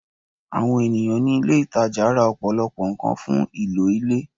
Àwọn ènìyàn ní ilé ìtajà ra ọ̀pọ̀lọpọ̀ nǹkan fún ìlò ilé